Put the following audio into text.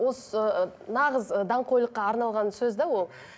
осы ы нағыз ы даңғойлыққа арналған сөз де ол